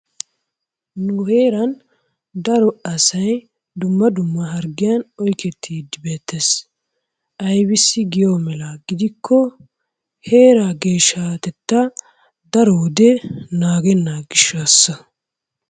Nu heeran daro asay dumma dumma harggiyan oykettiiddi beettees. Aybissi giyo mela gidikko heeraa geeshshatettaa daro wode naagenna gishshaassa.